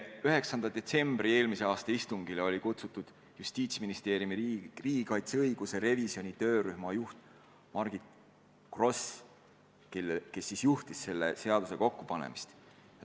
9. detsembri istungile olid kutsutud Justiitsministeeriumi riigikaitseõiguse revisjoni töörühma juht Margit Gross, kes juhtis selle seaduse kokkupanemist.